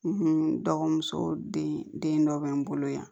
dɔgɔmuso den dɔ bɛ n bolo yan